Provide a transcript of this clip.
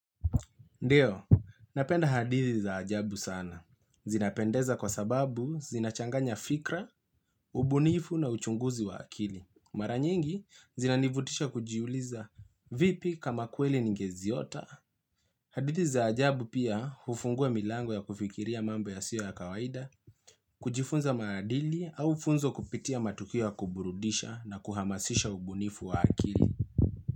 Ndio, napenda hadithi za ajabu sana. Zinapendeza kwa sababu zinachanganya fikra, ubunifu na uchunguzi wa akili. Maranyingi zinanivutisha kujiuliza vipi kama kweli ningeziota. Hadithi za ajabu pia ufungua milango ya kufikiria mambo ya siyo ya kawaida, kujifunza maadili au funzo kupitia matukio ya kuburudisha na kuhamasisha ubunifu wa akili.